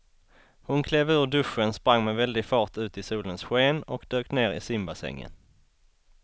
Hon klev ur duschen, sprang med väldig fart ut i solens sken och dök ner i simbassängen.